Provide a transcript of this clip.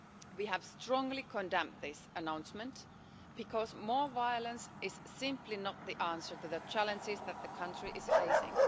We have strongly condemned this announcement because more violence is simply not the answer to the challenges that the country is facing.